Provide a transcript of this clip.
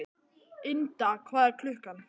Ynda, hvað er klukkan?